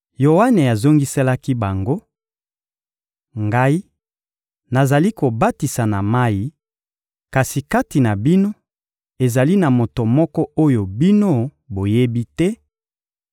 Yoane azongiselaki bango: — Ngai, nazali kobatisa na mayi; kasi kati na bino, ezali na Moto moko oyo bino boyebi te;